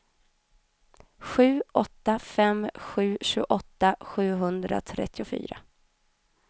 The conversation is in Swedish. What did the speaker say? sju åtta fem sju tjugoåtta sjuhundratrettiofyra